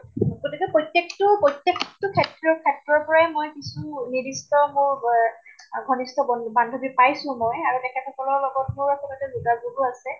গতিকে প্ৰতেক তো প্ৰতেক তো ক্ষেত্ৰ ক্ষেত্ৰৰ পৰাই মই কিছু নিৰ্দিষ্ট হʼক আ ঘনিষ্ট বন্ধু বান্ধৱী পাইছো মই আৰু তেখেত সকলৰ লগতো তেনেকে যোগাযোগো আছে ।